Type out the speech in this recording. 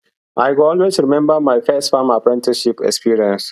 i go always remember my first farm apprenticeship experience